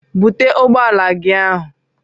Bute ụgbọala gị ahụ!